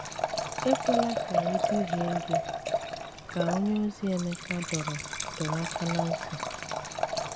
Ekwela ka e duhie gị, ka onyeozi Emeka dọrọ dọrọ aka ná ntị.